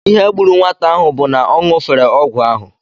Ihe gburu nwata ahụ bụ na ọ ṅụfere ọgwụ ahụ